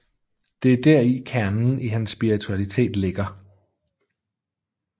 Det er deri kernen i hans spiritualitet ligger